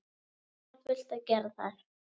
Alltaf fullt að gera þar!